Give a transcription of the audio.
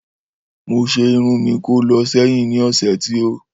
Mó se irun mi kó lọ séyìn ni ọ̀sẹ̀ tí o